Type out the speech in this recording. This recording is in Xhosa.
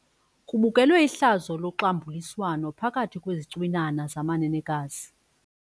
Kubukelwe ihlazo loxambuliswano phakathi kwezicwinana zamanenekazi.